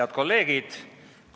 Head kolleegid!